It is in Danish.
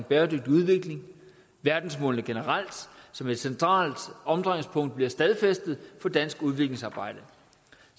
bæredygtig udvikling verdensmålene generelt som et centralt omdrejningspunkt bliver stadfæstet for dansk udviklingsarbejde